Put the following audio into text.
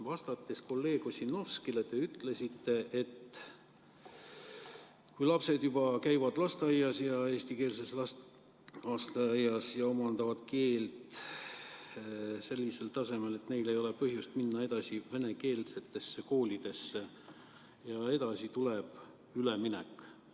Vastates kolleeg Ossinovskile te ütlesite, et kui vene lapsed käivad eestikeelses lasteaias ja omandavad keele sellisel tasemel, et neil ei ole põhjust minna edasi venekeelsesse kooli, siis edasi tuleb üleminek.